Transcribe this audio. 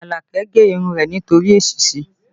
Alake gé irun rẹ̀ nítorí èsísí